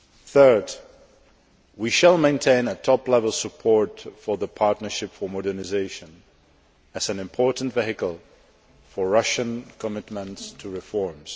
Third we shall maintain top level support for the Partnership for Modernisation as an important vehicle for Russian commitments to reforms.